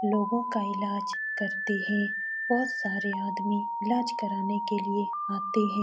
लोगों का इलाज करते हैं। बोहत सारे आदमी इलाज कराने के लिए आते हैं।